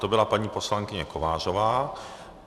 To byla paní poslankyně Kovářová.